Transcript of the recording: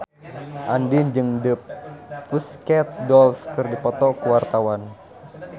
Andien jeung The Pussycat Dolls keur dipoto ku wartawan